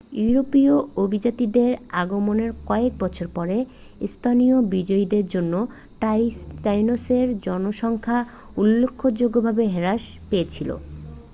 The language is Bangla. ইউরোপীয় অভিযাত্রীদের আগমনের কয়েক বছর পরে স্পেনীয় বিজয়ীদের জন্য টাইনোসের জনসংখ্যা উল্লেখযোগ্যভাবে হ্রাস পেয়েছিল